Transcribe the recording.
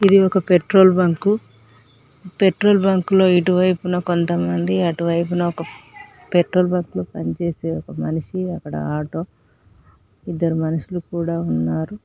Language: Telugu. ఇది ఒక పెట్రోల్ బంకు పెట్రోల్ బంకులో ఇటువైపున కొంతమంది అటువైపున ఒక పెట్రోల్ పంపులో పనిచేసే ఒక మనిషి అక్కడ ఆటో ఇద్దరు మనుషులు కూడా ఉన్నారు.